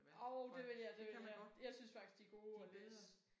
Jo det vil jeg det vil jeg. Jeg synes faktisk de er gode at læse